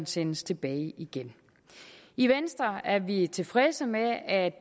sendes tilbage igen i venstre er vi tilfredse med at at